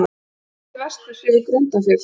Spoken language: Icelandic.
Horft til vesturs yfir Grundarfjörð.